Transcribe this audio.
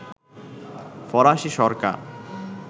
ফরাসি সরকার